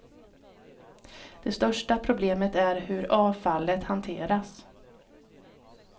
Det största problemet är hur avfallet hanteras.